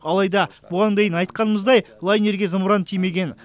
алайда бұған дейін айтқанымыздай лайнерге зымыран тимеген